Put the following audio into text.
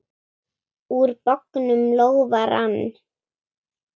Úr bognum lófa rann.